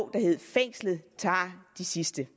der hedder fængslet tager de sidste